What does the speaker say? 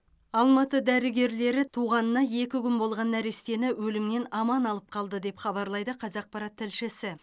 алматы дәрігерлері туғанына екі күн болған нәрестені өлімнен аман алып қалды деп хабарлайды қазақпарат тілшісі